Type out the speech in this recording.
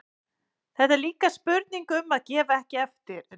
Þetta er líka spurning um að gefa ekki eftir.